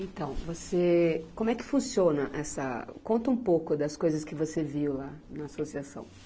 Então, você... Como é que funciona essa... Conta um pouco das coisas que você viu lá na associação.